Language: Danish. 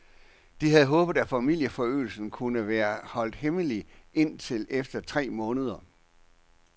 De havde håbet, at familieforøgelsen kunne være holdt hemmelig indtil efter tre måneder.